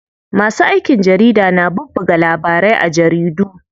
Masu aikin jarida na bubbuga labarai a jaridu.